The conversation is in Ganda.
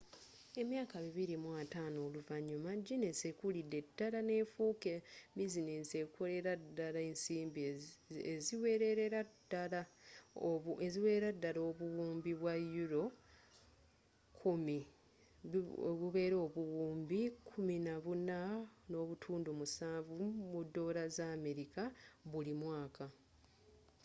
emyaka 250 oluvanyuma ginesi ekulidde ddala nefuuka bizinensi ekolera ddala ensimbi eziwererera ddala obuwumbi bwa euro 10 us$14.7 buwumbi buli mwaka